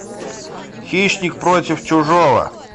хищник против чужого